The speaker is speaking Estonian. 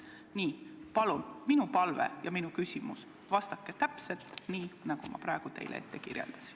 Minu palve on, et vastaksite küsimustele täpselt nii, nagu ma praegu teile kirjeldasin.